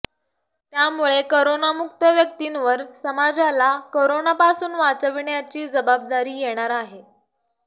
त्यामुळे करोनामुक्त व्यक्तींवर समाजाला करोनापासून वाचविण्याची जबाबदारी येणार आहे